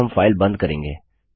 अब हम फाइल बंद करेंगे